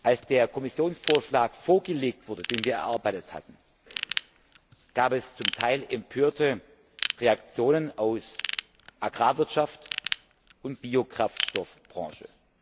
Als der Kommissionsvorschlag vorgelegt wurde, den wir erarbeitet hatten, gab es zum Teil empörte Reaktionen aus Agrarwirtschaft und Biokraftstoffbranche.